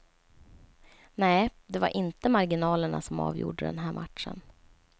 Nej, det var inte marginalerna som avgjorde den här matchen.